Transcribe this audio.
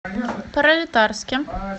пролетарске